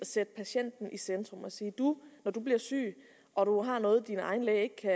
sætte patienten i centrum og sige når du bliver syg og du har noget din egen læge ikke kan